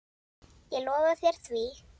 Ég lofa þér því.